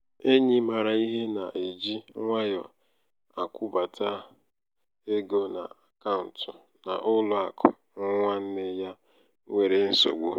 enyi maara ihe na-eji nwayọ akwụbata akwụbata ego n'akaụtụ n'ụlọ akụ nwanne ya nwere nsogbu.